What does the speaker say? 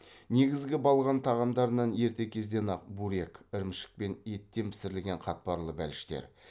негізгі балған тағамдарынан ерте кезден ақ бурек ірімшік пен еттен пісірілген қатпарлы бәліштер